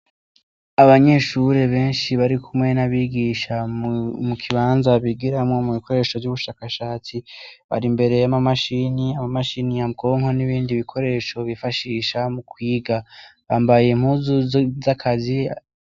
Abanyeshure beshi barikumwe n'abigisha mukibanza bigiramwo mubikoresho vy'ubushakashatsi bar'imbere yamamashini amamashini nyabwonko n'ibindi bikoresho bifashisha mukwiga. Bambaye impuzu zakazi.